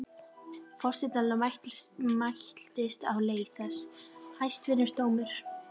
Forsetanum mæltist á þessa leið: Hæstvirti dómur!